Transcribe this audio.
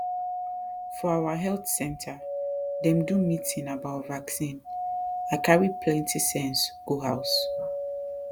for our health center dem do meeting about vaccine i carry plenty sense go house